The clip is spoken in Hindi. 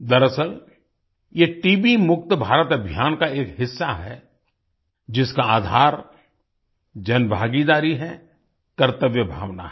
दरअसल ये टीबी मुक्त भारत अभियान का एक हिस्सा है जिसका आधार जनभागीदारी है कर्तव्य भावना है